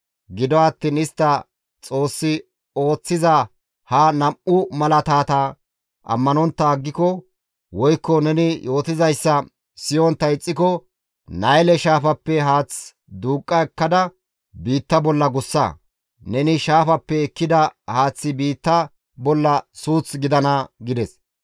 Gido attiin istti Xoossi ooththiza ha nam7u malaatata ammanontta aggiko woykko neni yootizayssa siyontta ixxiko, Nayle shaafappe haath duuqqa ekkada biitta bolla gussa; neni shaafaappe ekkida haaththi biitta bolla suuth gidana» gides.